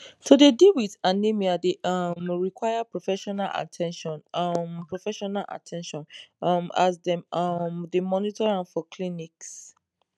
to dey deal wit anemia dey um require professional at ten tion um professional at ten tion um as dem um dey monitor am for clinics